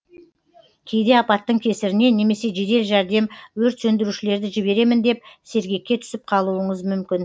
кейде апаттың кесірінен немесе жедел жәрдем өрт сөндірушілерді жіберемін деп сергекке түсіп қалуыңыз мүмкін